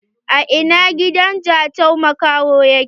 A ina gidan Jatau makaho yake?